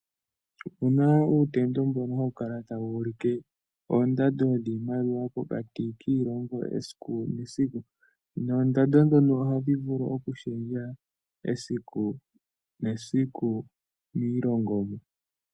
Opu na uutendo mbono hawu kala tawu ulike oondando dhiimaliwa pokati kiilongo esiku nesiku noondando ndhono ohadhi vulu okushendja esiku nesiku miilongo mo.